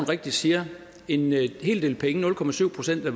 rigtigt siger en hel del penge nul procent procent